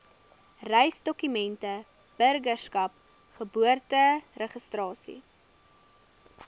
reisdokumente burgerskap geboorteregistrasie